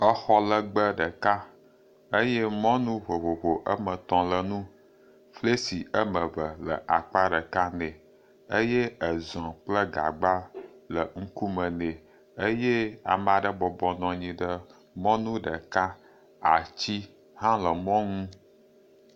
Xɔ lɛgbɛ ɖeka eye mɔnu vovovo ame tɔ̃ le enu. Fesle ame ve le akpa ɖeka nɛ eye ezɔ̃ kple gagba le ŋkume nɛ eye ame aɖe bɔbɔ nɔ mɔnu ɖeka. Atsi hã le mɔnu.